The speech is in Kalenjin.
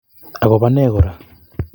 Agobo ne Kora?